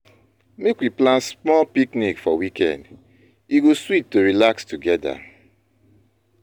Make we plan small picnic for weekend; e go sweet to relax together.